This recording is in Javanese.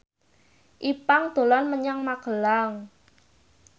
Ipank dolan menyang Magelang